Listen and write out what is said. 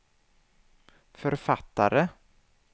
författare